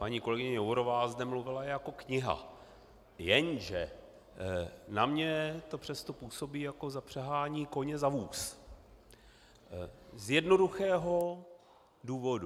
Paní kolegyně Jourová zde mluvila jako kniha, jenže na mě to přesto působí jako zapřahání koně za vůz, z jednoduchého důvodu.